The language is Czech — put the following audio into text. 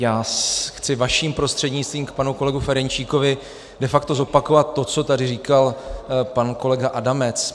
Já chci vaším prostřednictvím k panu kolegovi Ferjenčíkovi de facto zopakovat to, co tady říkal pan kolega Adamec.